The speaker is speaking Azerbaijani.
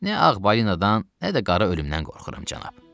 Nə ağ balinadan, nə də qara ölümdən qorxuram, cənab.